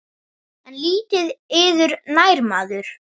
En lítið yður nær maður.